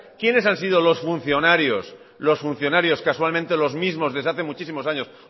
quiénes han sido los funcionarios casualmente los mismos desde hace muchísimos años